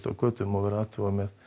á götu og athugað með